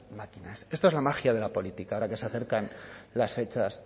máquinas esto es la magia de la política ahora que se acercan